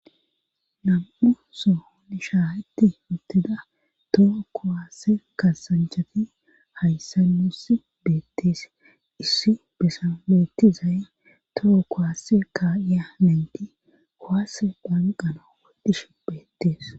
Nam7u sohon shaaketti uttida toho kuwaase kaaasanchati hayssan nuusi beettees issi bessan beetizay toho kuwaase kaa7iya nayti kuwaase kaqqanaw bishe beettees